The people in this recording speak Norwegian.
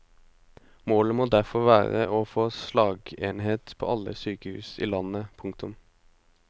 Målet må derfor være å få slagenheter på alle sykehus i landet. punktum